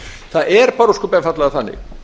það er bara ósköp einfaldlega þannig